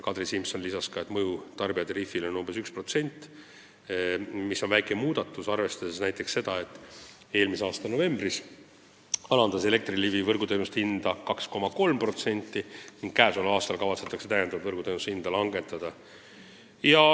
Kadri Simson lisas ka, et mõju tarbijatariifile on umbes 1%, mis on väike muutus, arvestades seda, et eelmise aasta novembris alandas Elektrilevi võrguteenuste tasu 2,3% ning tänavu kavatsetakse võrguteenuse tasu veelgi langetada.